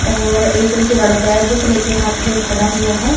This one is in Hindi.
और एक जो लड़का है बुक ले के हाथ में खड़ा हुआ है।